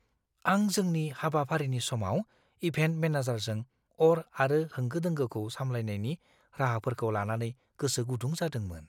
आं जोंनि हाबाफारिनि समाव इभेन्ट मेनेजारजों अर आरो होंगो दोंगोखौ सामलायनायनि राहाफोरखौ लानानै गोसो गुदुं जादोंमोन।